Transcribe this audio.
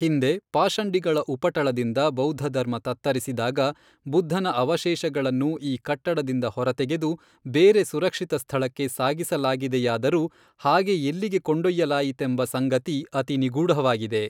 ಹಿಂದೆ ಪಾಷಂಡಿಗಳ ಉಪಟಳದಿಂದ ಬೌದ್ಧಧರ್ಮ ತತ್ತರಿಸಿದಾಗ ಬುದ್ಧನ ಅವಶೇಷಗಳನ್ನು ಈ ಕಟ್ಟಡದಿಂದ ಹೊರ ತೆಗೆದು ಬೇರೆ ಸುರಕ್ಷಿತ ಸ್ಥಳಕ್ಕೆ ಸಾಗಿಸಲಾಗಿದೆಯಾದರೂ ಹಾಗೆ ಎಲ್ಲಿಗೆ ಕೊಂಡೊಯ್ಯಲಾಯಿತೆಂಬ ಸಂಗತಿ ಅತಿ ನಿಗೂಢವಾಗಿದೆ.